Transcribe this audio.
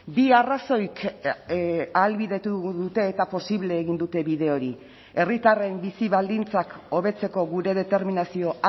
bi arrazoik ahalbidetu dute eta posible egin dute bide hori herritarren bizi baldintzak hobetzeko gure determinazio